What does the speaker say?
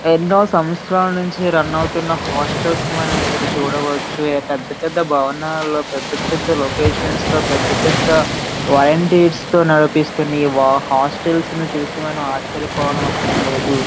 ఎన్నో సంవత్సరాల నుంచి రన్ అవుతున్న హాస్టల్స్ ను మనం ఇప్పుడు చూడవచ్చును పెద్దపెద్ద భవనాల్లో పెద్దపెద్ద లొకేషన్స్ లో పెద్ద పెద్ద తో నిర్వహిస్తున ఈ హాస్టల్ ని చూసి మనం ఆశ్చర్య పోనవసరం లేదు.